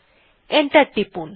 enter টিপুন